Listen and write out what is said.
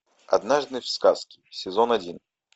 однажды в сказке сезон один